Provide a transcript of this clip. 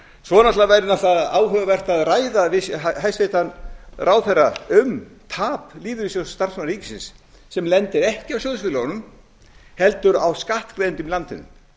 svo væri náttúrlega áhugavert að ræða við hæstvirtan ráðherra um tap lífeyrissjóðs starfsmanna ríkisins sem lendir ekki á sjóðfélögunum heldur á skattgreiðendum í landinu